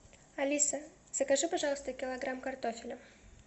алиса закажи пожалуйста килограмм картофеля